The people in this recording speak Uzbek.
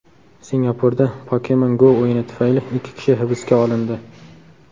Singapurda Pokemon Go o‘yini tufayli ikki kishi hibsga olindi.